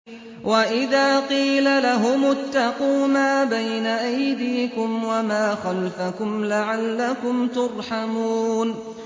وَإِذَا قِيلَ لَهُمُ اتَّقُوا مَا بَيْنَ أَيْدِيكُمْ وَمَا خَلْفَكُمْ لَعَلَّكُمْ تُرْحَمُونَ